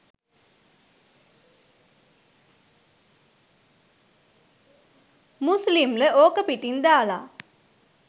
මුස්ලිම්ල ඕක පිටින් දාල